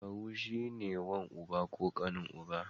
Kawu shi ne wan uba ko ƙanin uba.